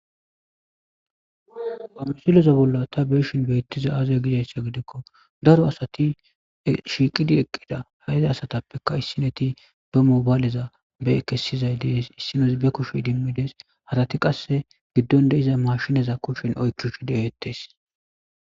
Amsuleza bolla ta beeshin beettiza aaza gizayssa gidikko daro asati shiiqidi eqqida hayza asatappeka issineti ba mobayleza be kesizay dees issinesi be kushi dimmides halati qasse giddonde iza mashinaza kushshen oykkishu deeettes.